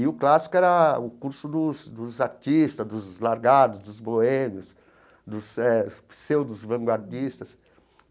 E o clássico era o curso dos dos artistas, dos largados, dos boêmios, dos eh dos pseudos vanguardistas.